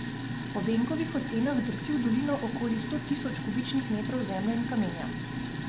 Po Benkovih ocenah drsi v dolino okrog sto tisoč kubičnih metrov zemlje in kamenja.